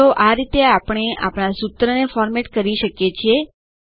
તો આ રીતે આપણે આપણા સૂત્રોને ફોરમેટ કરી શકીએ છીએ